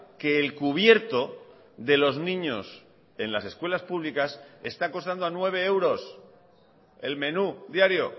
que el cubierto de los niños en las escuelas públicas está costando a nueve euros el menú diario